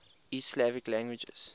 east slavic languages